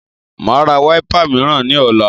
Màá ra wiper mìíràn ní ọ̀la